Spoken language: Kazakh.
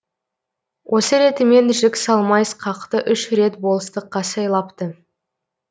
осы ретімен жік салмай сқақты үш рет болыстыққа сайлапты